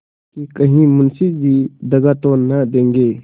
कि कहीं मुंशी जी दगा तो न देंगे